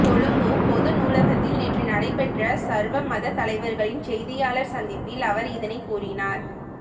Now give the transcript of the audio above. கொழும்பு பொதுநூலகத்தில் நேற்று நடைபெற்ற சர்வமத தலைவர்களின் செய்தியாளர் சந்திப்பில் அவர் இதனை கூறினார்